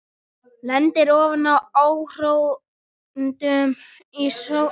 Lendir ofan á áhorfendum í sófa.